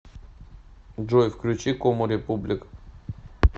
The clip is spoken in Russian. джой включи кому републик